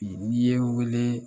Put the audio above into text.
N'i ye wele